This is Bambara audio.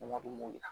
Wari dun yira